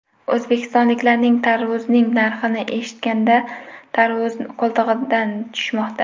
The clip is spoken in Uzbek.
O‘zbekistonliklarning tarvuzning narxini eshitganda tarvuzi qo‘ltig‘idan tushmoqda.